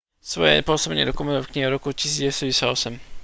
svoje pôsobenie dokumentoval v knihe z roku 1998